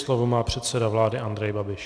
Slovo má předseda vlády Andrej Babiš.